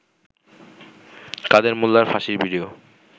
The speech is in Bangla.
কাদের মোল্লার ফাঁসির ভিডিও